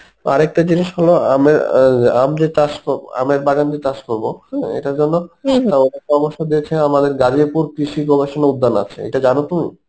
আরেকটা জিনিস হলো আমের অ্যাঁ আম যে চাষ করবো আমের বাগান যে চাষ করবো হম এটার জন্য ওরা পরামর্শ দিয়েছে আমাদের গারিয়াপুর কৃষি গবেষণা উদ্যান আছে এটা জানো তুমি